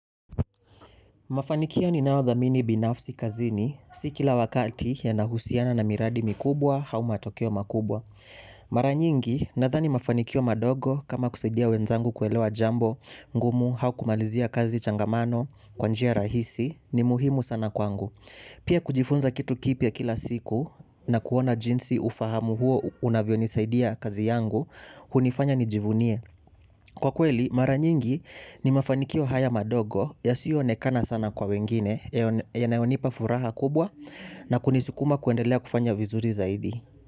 Mafanikio ni nayo dhamini binafsi kazini, sikila wakati ya na husiana na miradi mikubwa au ma tokeo makubwa. Maranyingi, nathani mafanikio madogo kama kusaidia wenzangu kuelewa jambo, ngumu, au kumalizia kazi changamano, kwanjia rahisi, ni muhimu sana kwangu. Pia kujifunza kitu kipia kila siku na kuona jinsi ufahamu huo unavyo nisaidia kazi yangu, hunifanya nijivunie. Kwa kweli mara nyingi ni mafanikio haya madogo yasioonekana sana kwa wengine yanayonipa furaha kubwa na kunisukuma kuendelea kufanya vizuri zaidi.